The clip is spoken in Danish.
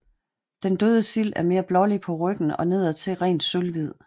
Den døde sild er mere blålig på ryggen og nedadtil rent sølvhvid